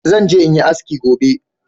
Zan je in yi haski gobe